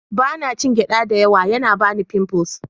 Ba na cin gyaɗa da yawa, yana bani pimples.